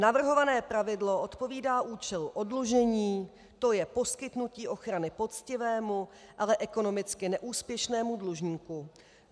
Navrhované pravidlo odpovídá účelu oddlužení, to je poskytnutí ochrany poctivému, ale ekonomicky neúspěšnému dlužníku.